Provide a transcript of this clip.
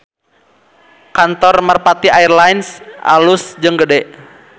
Kantor Merpati Air Lines alus jeung gede